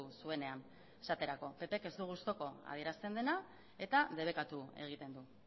zuenean esaterako ppk ez du gustuko adierazten dena eta debekatu egiten du